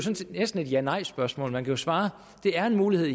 næsten et janejspørgsmål man kan svare ja det er en mulighed